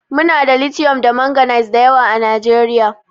Muna da litiwom da manganiz da yawa a Najeriya.